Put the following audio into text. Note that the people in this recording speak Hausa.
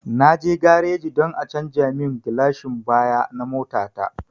Na je gareji don a canja mun gilashin baya na mota ta